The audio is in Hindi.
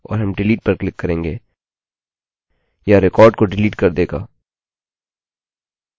हम karen headen पर क्लिक करेंगे और हम delete पर क्लिक करेंगे यह रिकार्ड को डिलीट कर देगा